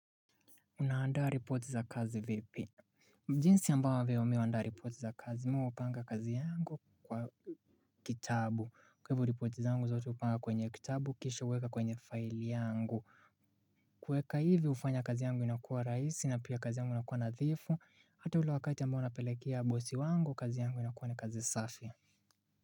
Una andaa ripoti za kazi vipi jinsi ambavyo mimi huandaa ripoti za kazi mimi hupanga kazi yangu kwa kitabu kwa hivyo ripoti zangu zote hupanga kwenye kitabu kisha huweka kwenye file yangu kuweka hivi hufanya kazi yangu inakuwa raisi na pia kazi yangu inakuwa nadhifu hata ule wakati ambao unapelekea bosi wangu kazi yangu inakuwa ni kazi safi.